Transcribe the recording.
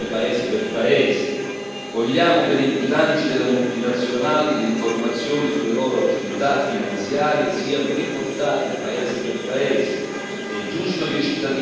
Penso alla rendicontazione paese per paese vogliamo che nei bilanci delle multinazionali le informazioni sulle loro attività finanziarie siano riportate paese per paese.